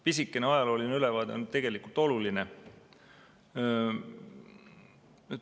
Pisikene ajalooline ülevaade on tegelikult oluline.